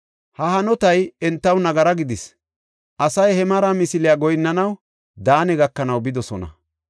Ha hanotay entaw nagara gidis; asay he mara misiliya goyinnanaw Daane gakanaw bidosona.